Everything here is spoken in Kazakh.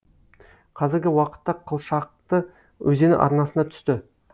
қазіргі уақытта қылшақты өзені арнасына түсті